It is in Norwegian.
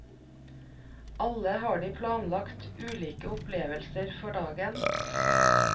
Alle har de planlagt ulike opplevelser for dagen.